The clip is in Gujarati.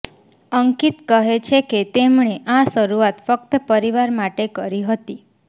અંકિત કહે છે કે તેમણે આ શરૂઆત ફક્ત પરિવાર માટે કરી હતી